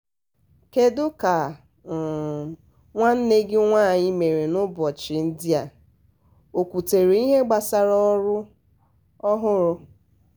kedu um ka um nwanne gị nwaanyị mere n'ụbọchị ndị a? o kwutere ihe gbasara ọrụ um ọhụrụ.